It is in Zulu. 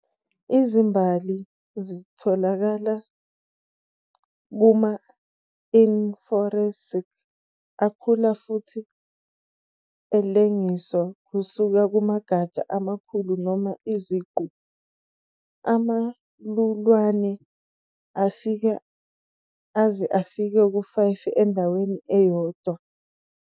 Izimbali zitholakala kuma-inflorescence akhula futhi alengiswa kusuka kumagatsha amakhulu noma isiqu, amalulwane angafika aze afike ku-5 endaweni eyodwa.